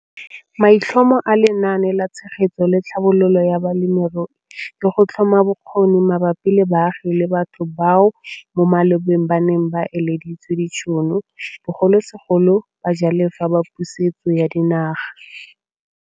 Maitlhomo a Lenaane la Tshegetso le Tlhabololo ya Balemirui ke go tlhoma bokgoni mabapi le baagi le batho bao mo malobeng ba neng ba ileditswe ditšhono, bogolosegolo bajalefa ba Pusetso ya Dinaga.